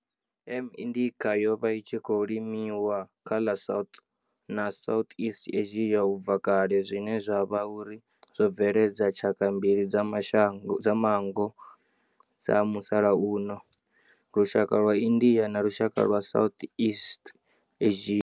M. indica yo vha i tshi khou limiwa kha ḽa South na Southeast Asia ubva kale zwine zwa vha uri zwo bveledza tshaka mbili dza manngo dza musalauno, lushaka lwa India na lushaka lwa Southeast Asia.